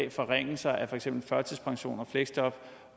af forringelser af for eksempel førtidspension og fleksjob